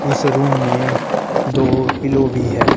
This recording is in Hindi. इस रूम में दो पिलो भी है।